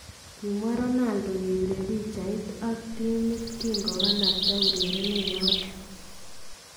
Kimwaa Ronaldo, kepiree picheet ak timit kinkopataa urerenet noton.